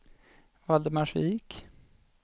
Valdemarsvik